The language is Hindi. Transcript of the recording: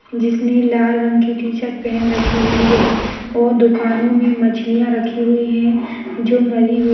जिसने लाल रंग की टी-शर्ट पहन राखी हुई है वो दुकानोमे मछलिया राखी हुई है जो मरी हुई --